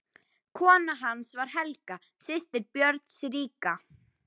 Kona hans var Helga, systir Björns ríka.